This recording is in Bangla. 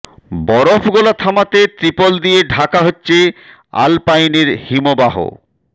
বরফ গলা থামাতে ত্রিপল দিয়ে ঢাকা হচ্ছে আলপাইনের হিমবাহ